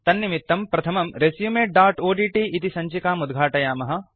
तन्निमित्तम् प्रथमं resumeओड्ट् इति सञ्चिकाम् उद्घाटयामः